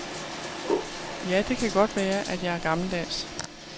Ja, det kan godt være, at jeg er gammeldags.